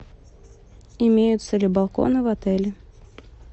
имеются ли балконы в отеле